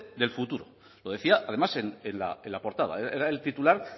del futuro lo decía además en la portada era el titular